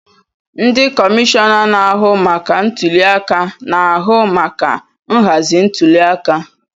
Ndị kọmishọna na-ahụ maka ntuli aka na-ahụ maka nhazi ntuliaka.